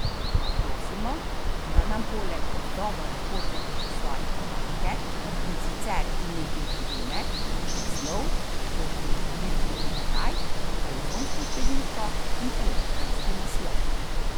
Prosimo, da nam poleg odgovora pošljete še svoje podatke, in sicer ime in priimek, naslov, poštno številko in kraj, telefonsko številko in elektronski naslov.